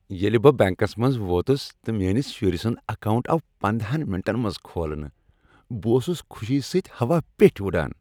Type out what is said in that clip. ییٚلہ بہٕ بینکس منٛز ووتس تہٕ میٛٲنس شُرۍ سنٛد اکاونٹ آو پندہَن منٹن منٛز کھولنہٕ، بہٕ اوسس خوشی سۭتۍ ہواہ پیٚٹھۍ وٕڑان۔